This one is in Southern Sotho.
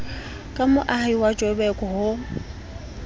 ka moahi wa joburg ho